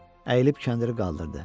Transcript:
Əyilib kəndiri qaldırdı.